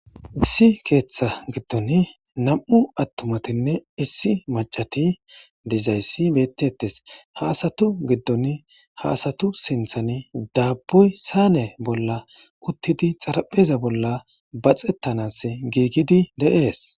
Issi keeththa giddon nam'u attumatinne issi macati dizayssi beettettes haasatu giddon haasatu sinthan daabboy saane bolla uttidi xarapheza bolla baxettanas giigidi de'ees.